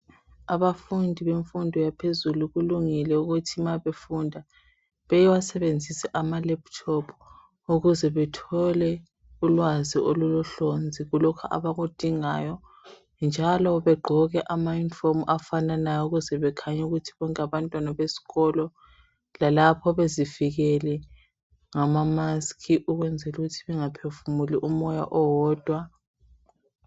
Abafundi bemfundo yaphezulu kulungile ukuthi ma befunda, bewasebenzise ama laptop ukuze bethole ulwazi olulohlonzi kulokho abakudingayo njalo begqoke amayunifomu afananayo ukuze bekhanye ukuthi bonke ngabantwana besikolo lalapho bezivikele ngama mask ukwenzela ukuthi bangaphefumuli umoya owodwa.